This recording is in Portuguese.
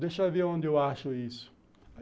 Deixa eu ver onde eu acho isso.